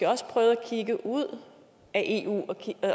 også prøve at kigge ud af eu